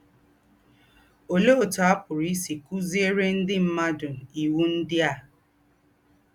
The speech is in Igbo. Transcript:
Óléé ótú à pùrù ísí kùzíèrè ndí́ m̀mùàdù íwú ndí́ à?